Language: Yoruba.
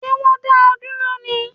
Ṣé wọn dá ọ dúró ní?